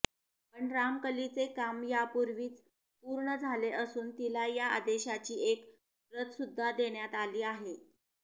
पण रामकलीचे काम यापूर्वीच पूर्ण झाले असून तिला या आदेशाची एक प्रतसुद्धा देण्यात आली आहे